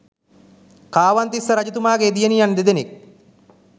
කාවන්තිස්ස රජතුමාගේ දියණියන් දෙදෙනෙක්